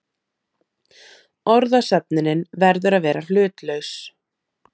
Orðasöfnunin verður að vera hlutlaus.